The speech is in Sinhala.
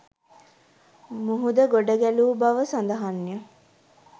මුහුද ගොඩ ගැලූ බව සඳහන්ය.